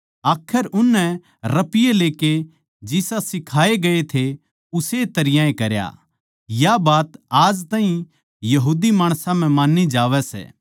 आखर उननै रपिये लेकै जिसे सिखाए गये थे उस्से तरियां ए करया या बात आज ताहीं यहूदी माणसां म्ह मान्नी जावै सै